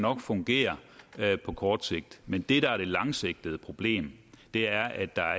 fungere på kort sigt men det der er det langsigtede problem er at der